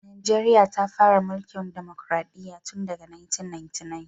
Najeriya ta fara tsarin mulkin dimokradiyya tun daga 1999.